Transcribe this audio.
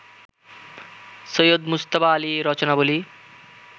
Syed Mujtaba Ali Rachanabali